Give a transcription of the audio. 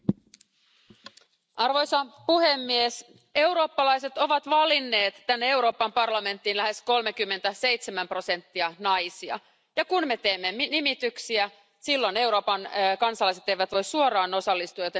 Arvoisa puhemies, eurooppalaiset ovat valinneet tänne Euroopan parlamenttiin lähes 37 prosenttia naisia, ja kun me teemme nimityksiä silloin Euroopan kansalaiset eivät voi suoraan osallistua, joten vastuu on meillä.